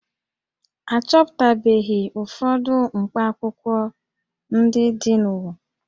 A chọpụtabeghị ụfọdụ mkpakwụkwọ ndị dị n'ụwa